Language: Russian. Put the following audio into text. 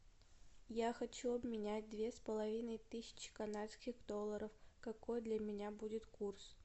я хочу обменять две с половиной тысячи канадских долларов какой для меня будет курс